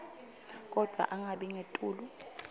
kodvwa angabi ngetulu